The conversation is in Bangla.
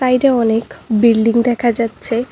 এটা অনেক বিল্ডিং দেখা যাচ্ছে।